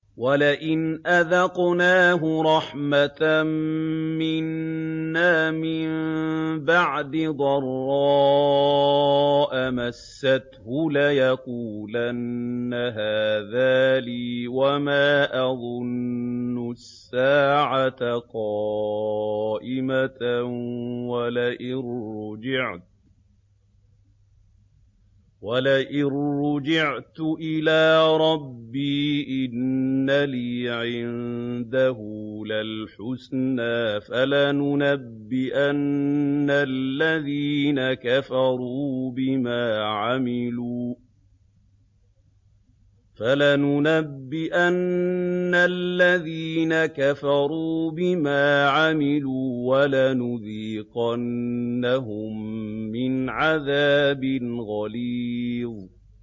وَلَئِنْ أَذَقْنَاهُ رَحْمَةً مِّنَّا مِن بَعْدِ ضَرَّاءَ مَسَّتْهُ لَيَقُولَنَّ هَٰذَا لِي وَمَا أَظُنُّ السَّاعَةَ قَائِمَةً وَلَئِن رُّجِعْتُ إِلَىٰ رَبِّي إِنَّ لِي عِندَهُ لَلْحُسْنَىٰ ۚ فَلَنُنَبِّئَنَّ الَّذِينَ كَفَرُوا بِمَا عَمِلُوا وَلَنُذِيقَنَّهُم مِّنْ عَذَابٍ غَلِيظٍ